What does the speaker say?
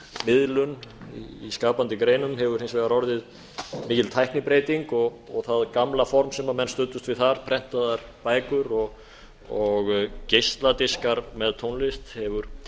miðlun í skapandi greinum hefur hins vegar orðið mikil tæknibreyting það gamla form sem menn studdust við þar prentaðar bækur og geisladiskar með tónlist hefur